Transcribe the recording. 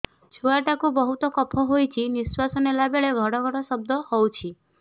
ଛୁଆ ଟା କୁ ବହୁତ କଫ ହୋଇଛି ନିଶ୍ୱାସ ନେଲା ବେଳେ ଘଡ ଘଡ ଶବ୍ଦ ହଉଛି